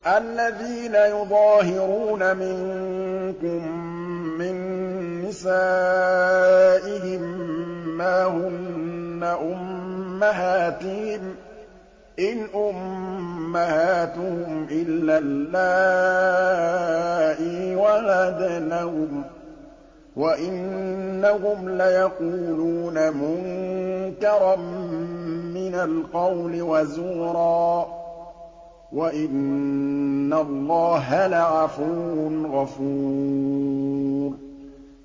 الَّذِينَ يُظَاهِرُونَ مِنكُم مِّن نِّسَائِهِم مَّا هُنَّ أُمَّهَاتِهِمْ ۖ إِنْ أُمَّهَاتُهُمْ إِلَّا اللَّائِي وَلَدْنَهُمْ ۚ وَإِنَّهُمْ لَيَقُولُونَ مُنكَرًا مِّنَ الْقَوْلِ وَزُورًا ۚ وَإِنَّ اللَّهَ لَعَفُوٌّ غَفُورٌ